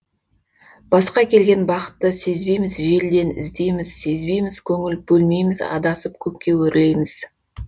басқа келген бақытты сезбейміз желден іздейміз сезбейміз көңіл бөлмейміз адасып көкке өрлейміз